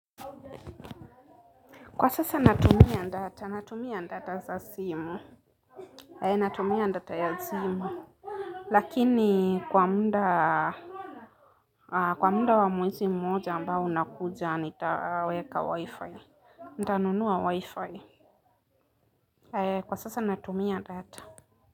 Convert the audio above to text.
Kwa sasa natumia data natumia data za simu eh natumia data za simu lakini kwa muda kwa muda wa mwezi mmoja wa mwezi mmoja ambao unakuja nitaweka wifi, nitanunua wifi kwa sasa natumia ndata.